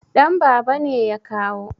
Danbaba ne ya kawo